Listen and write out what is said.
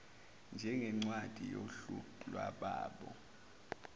njengencwadi yohlu lwalabo